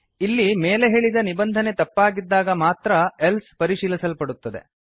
ಇಲ್ಲಿ ಮೇಲೆ ಹೇಳಿದ ನಿಬಂಧನೆ ತಪ್ಪಾಗಿದ್ದಾಗ ಮಾತ್ರ ಎಲ್ಸೆ ಪರಿಶೀಲಿಸಲ್ಪಡುತ್ತದೆ